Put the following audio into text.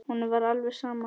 Honum var alveg sama.